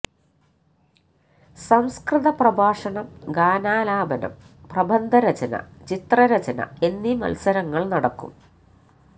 സംസ്കൃത പ്രഭാഷണം ഗാനാലാപനം പ്രബന്ധ രചന ചിത്ര രചന എന്നി മത്സരങ്ങൾ നടക്കും